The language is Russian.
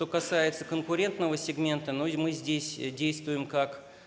что касается конкурентного сегмента но мы здесь действуем как